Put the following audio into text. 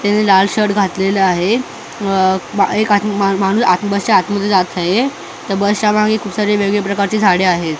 त्यांनी लाल शर्ट घातलेलं आहे अ बा एक आत मा मा माणूस आत बशा आतमध्ये जात आहे त्या बशामागे खूप सारे वेगवेगळे प्रकारचे झाडे आहेत.